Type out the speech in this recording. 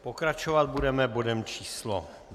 Pokračovat budeme bodem číslo